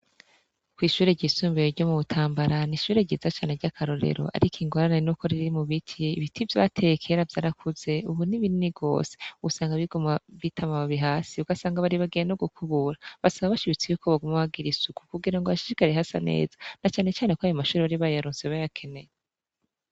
Kw'ishure ryisumbiye ryo mu butambarana ishure ryiza cane ry'akarorero, ariko ingorane n'uko riri mu biki ibiti vyateye kera vyarakuze, ubu n'ibinini gose ubusanga bigoma bitama bubi hasi ugasanga bari bagiye no gukubura basaba bashibitsi yuko bagaumobagira isuku kugira ngo hashishikare hasa neza na canecane ko ayo mashururoribayalunseba ya keneye.